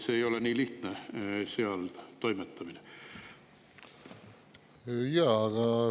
Seal toimetamine ei ole nii lihtne.